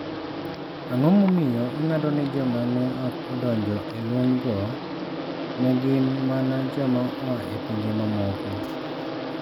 Ang'o momiyo ing'ado ni joma ne ok odonjo e lwenygo ne gin mana joma oa e pinje mamoko?